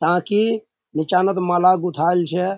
क्या की निचानोत माला गुथाल छे।